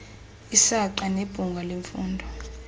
isaqa nebhunga lemfundo